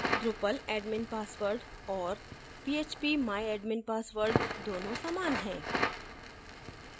drupal admin password और phpmyadmin password दोनों समान हैं